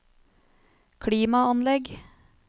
klimaanlegg